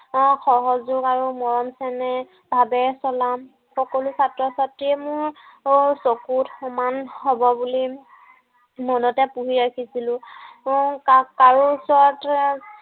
আহ সহযোগ আৰু মৰম চেনেহ ভাৱে নাম সকলো ছাত্ৰ-ছাত্ৰীয়ে মোৰ চকুত সমান হব বুলি মনতে পুহি ৰাখিছিলো। উম কাৰো ওচৰত এৰ